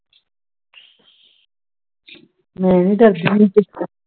ਮੈਂ ਨੀ ਡਰਦੀ ਕਿਸੇ ਤੋਂ